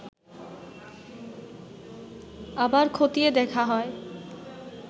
আবার খতিয়ে দেখা হয়